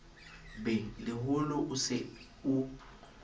be leholo o se o